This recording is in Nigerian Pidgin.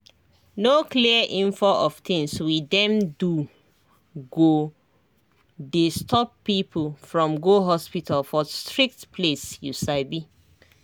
no clear info of things we dem do go dey stop people from go hospital for strict place you sabi